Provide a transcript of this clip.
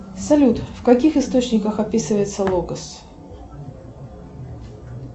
салют в каких источниках описывается логос